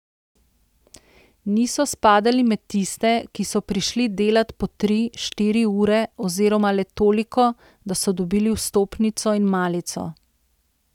Niso spadali med tiste, ki so prišli delat po tri, štiri ure oziroma le toliko, da so dobili vstopnico in malico.